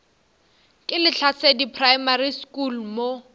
ke lehlasedi primary school mo